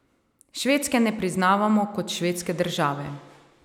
Švedske ne priznavamo kot švedske države.